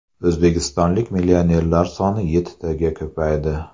O‘zbekistonlik millionerlar soni yettitaga ko‘paydi.